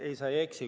Ei, sa ei eksi.